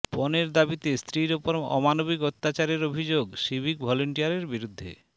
পণের দাবিতে স্ত্রীর ওপর অমানবিক অত্যাচারের অভিযোগ সিভিক ভলেন্টিয়ারের বিরুদ্ধে